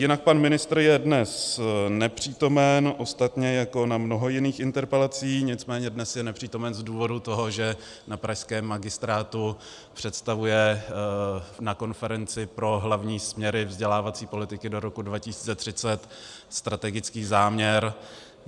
Jinak pan ministr je dnes nepřítomen, ostatně jako na mnoha jiných interpelacích, nicméně dnes je nepřítomen z důvodu toho, že na pražském magistrátu představuje na konferenci pro hlavní směry vzdělávací politiky do roku 2030 strategický záměr.